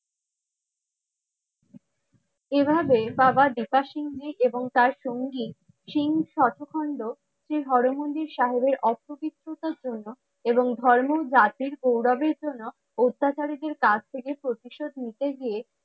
এই ভাবে বাবা সিং জী এৱ তার সঙ্গী সিং সাখো খন্ড শ্রী হরমন্দির সাহেব এর অর্থ বিত্ততার জন্য এবং ধর্মের জাতির গৌরবের জন্য অত্যাচারীদের কাছ থেকে প্রতিশোধ নিতে গিয়ে